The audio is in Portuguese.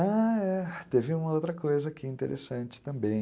Ah, é. Teve uma outra coisa aqui interessante também.